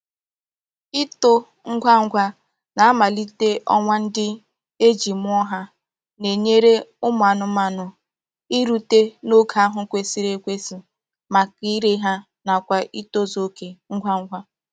Itó ngwa ngwa na mmalite onwa ndi e ji muo ha na-enyere umu anumanu irute n'oge ahu kwesiri ekwesi maka ire ha nakwa itozu oke ngwa ngwa.